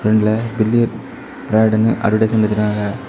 பிராண்ட்ல பில்லி பிராடுன்னு அட்வர்டைஸ்மென்ட் வச்சிருக்காங்க.